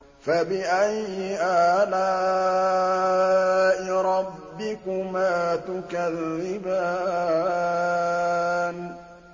فَبِأَيِّ آلَاءِ رَبِّكُمَا تُكَذِّبَانِ